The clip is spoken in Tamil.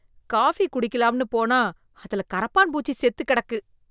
காபி குடிக்கலாம்னு போனா அதுல கரப்பான் பூச்சி செத்து கெடக்கு.